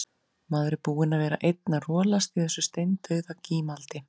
Maður er búinn að vera einn að rolast í þessu steindauða gímaldi.